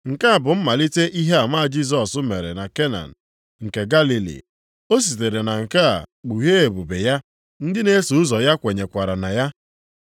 Nke a bụ mmalite ihe ama Jisọs mere na Kena nke Galili, o sitere na nke a kpughee ebube ya, ndị na-eso ụzọ ya kwenyekwara na ya.